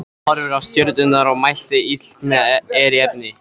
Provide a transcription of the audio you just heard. Hann horfði á stjörnurnar og mælti: Illt er í efni.